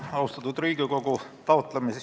Austatud Riigikogu!